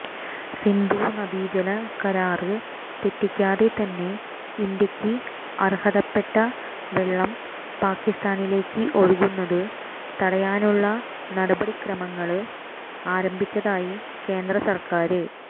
സിന്ധു നദീജല കരാര് തെറ്റിക്കാതെ തന്നെ ഇന്ത്യയ്ക്ക് അര്ഹതപ്പെട്ട വെള്ളം പാക്കിസ്ഥാനിലേക്ക് ഒഴുകുന്നത് തടയാനുള്ള നടപടിക്രമങ്ങള് ആരംഭിച്ചതായി കേന്ദ്ര സര്ക്കാര്